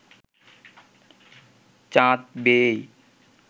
চাঁদ বেয়েই